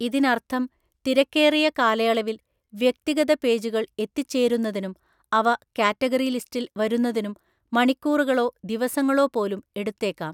ഇതിനർത്ഥം, തിരക്കേറിയ കാലയളവിൽ, വ്യക്തിഗത പേജുകൾ എത്തിച്ചേരുന്നതിനും അവ കാറ്റഗറി ലിസ്റ്റിൽ വരുന്നതിനും മണിക്കൂറുകളോ ദിവസങ്ങളോ പോലും എടുത്തേക്കാം.